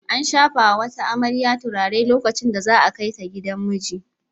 An shafa wa wata amarya turare lokacin da za a kai ta gidan miji.